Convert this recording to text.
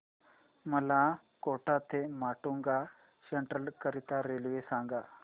मला कोटा ते माटुंगा सेंट्रल करीता रेल्वे सांगा